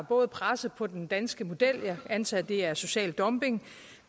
både presset på den danske model jeg antager at det er social dumping